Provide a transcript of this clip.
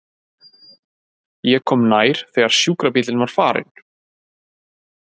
Ég kom nær þegar sjúkrabíllinn var farinn.